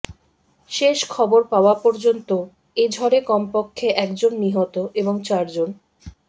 শেষ খবর পাওয়া পর্যন্ত এ ঝড়ে কমপক্ষে একজন নিহত এবং চারজন